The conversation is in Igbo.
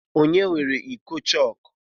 Kedụ onye weere iko chọọkụ?